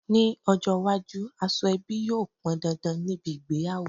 Ní ọjọ́ iwájú aṣọ ebi yóò pọn dandan níbi ìgbéyàwó